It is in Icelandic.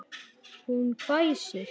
Hún hvæsir.